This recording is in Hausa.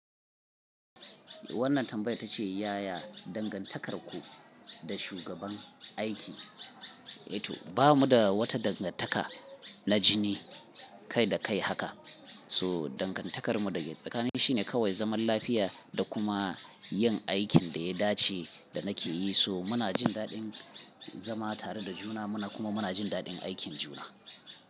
Wannan tambayar ta ce ya ya dangantakarku da shugaban aiki? A to ba mu da wata dangantaka na jini kai da kai haka. So dangantakarmu dake tsakani shine kawai zaman lafiya da kuma yin aikin da ya dace da nake yi. To muna jin daɗin zama tare da juna kuma muna jin daɗin aikin juna.